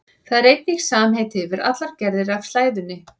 Það er einnig samheiti yfir allar gerðir af slæðunni.